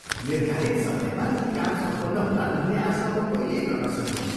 निर्धारित समयमा यी काम सम्पन्न होलान् भन्ने आशा म कहिल्यै गर्न सक्दिनँ ।